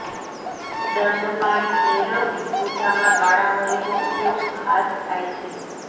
દંડપાણી ભૈરવની પૂજામાં કાળા મરીનો ઉપયોગ ખાસ થાય છે